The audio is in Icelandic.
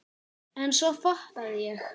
En svo fattaði ég.